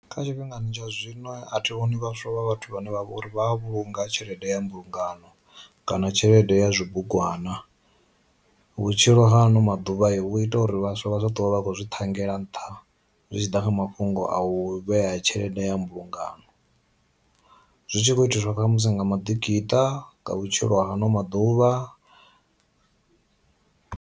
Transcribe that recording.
Kha tshi fhingani tsha zwino a thi vhoni vhaswa vha vhathu vhane vha vha uri vha vhunga tshelede ya mbulungano kana tshelede ya zwi bugwana. Vhutshilo hano maḓuvha i vhu ita uri vhaswa vha zwa dovha vha a khou zwi ṱhangela yela nṱha zwi tshi ḓa kha mafhungo a u vhea tshelede ya mbulungano, zwi tshi kho itiswa ṱhamusi nga ma ḓikiṱa nga vhutshilo ha ano maḓuvha.